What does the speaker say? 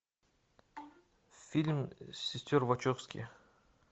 фильм сестер вачовски